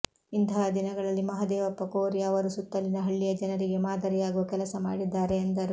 ಇಂತಹ ದಿನಗಳಲ್ಲಿ ಮಹದೇವಪ್ಪ ಕೋರಿ ಅವರು ಸುತ್ತಲಿನ ಹಳ್ಳಿಯ ಜನರಿಗೆ ಮಾದರಿಯಾಗುವ ಕೆಲಸ ಮಾಡಿದ್ದಾರೆ ಎಂದರು